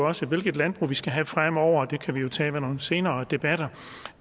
også er hvilket landbrug vi skal have fremover det kan vi jo tage i nogle senere debatter